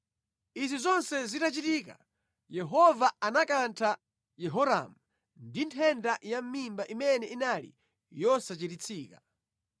Izi zonse zitachitika, Yehova anakantha Yehoramu ndi nthenda yamʼmimba imene inali yosachiritsika.